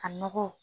Ka nɔgɔ